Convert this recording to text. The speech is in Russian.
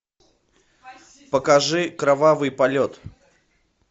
покажи кровавый полет